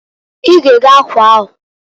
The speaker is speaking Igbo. I ga ego akwa ahuǃ